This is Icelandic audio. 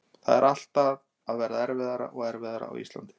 Þetta er alltaf að verða erfiðara og erfiðara á Íslandi.